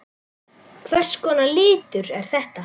Hvers konar litur er þetta?